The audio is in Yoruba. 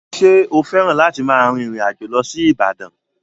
Ṣé o fẹ́ràn láti máa rin ìrìn àjò lọ sí Ibadan?